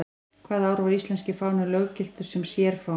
Hvaða ár var íslenski fáninn löggiltur sem sérfáni?